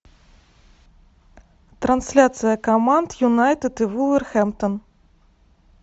трансляция команд юнайтед и вулверхэмптон